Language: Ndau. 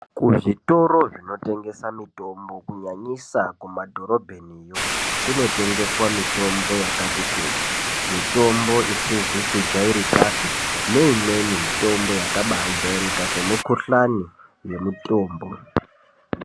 Ku zvitoro zvino tengesa mitombo ku nyanyisa ku madhorobheni yo kuno tengeswa mitombo yakati kuti mitombo isizi ku jairikapi ne imweni mitombo yakabai jairika se mukuhlani ye mutombo.